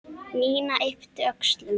Nína yppti öxlum.